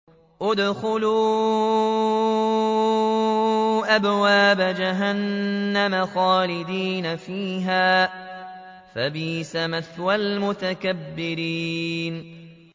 ادْخُلُوا أَبْوَابَ جَهَنَّمَ خَالِدِينَ فِيهَا ۖ فَبِئْسَ مَثْوَى الْمُتَكَبِّرِينَ